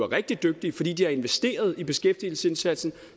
rigtig dygtige fordi de har investeret i beskæftigelsesindsatsen